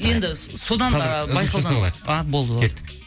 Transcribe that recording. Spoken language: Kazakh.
енді содан а болды болды кеттік